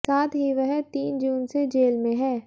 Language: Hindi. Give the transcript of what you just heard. साथ ही वह तीन जून से जेल में है